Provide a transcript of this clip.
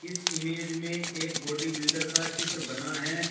इस इमेज में एक बॉडी बिल्डर का चित्र बना है।